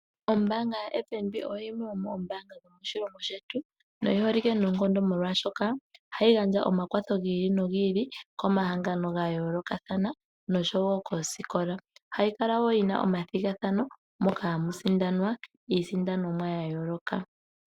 Ombaanga yotango yopashigwana oyo yimwe yomoombaanga dhomoshilongo shetu noyi holike noonkondo molwaashoka ohayi gandja omakwatho gi ili nogi ili komahangano yayoolokathana nosho wo koosikola. Ohayi kala wo yina omathigathano moka hamu sindanwa iisindanomwa yayooloka.